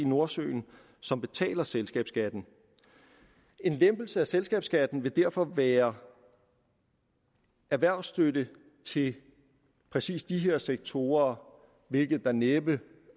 nordsøen som betaler selskabsskatten en lempelse af selskabsskatten vil derfor være erhvervsstøtte til præcis de her sektorer hvilket der næppe